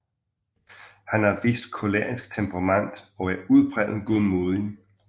Han har et vist kolerisk temperament og er udpræget godmodig